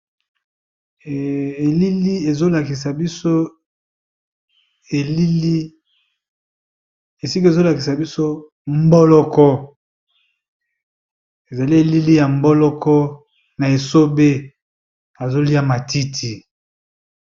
Elili ezo lakisa biso elili esika ezo lakisa biso mboloko, ezali elili ya mboloko na esobe azo lia matiti.